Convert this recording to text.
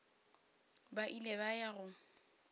ba ile ba ya go